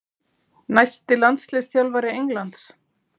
Næsti landsliðsþjálfari Englands?